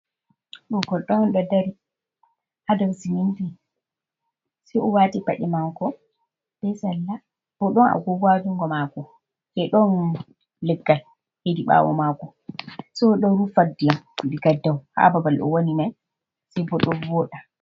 Ɗo goɗɗo on ɗo dari ha dou siminti, se o waati paɗe maako be salla, bo ɗon agogo haa junngo maako, be ɗon leggal hedi ɓawo maako, sai o ɗo rufa ndiyam diga dou haa babal o woni mai, sai bo ɗon vooda.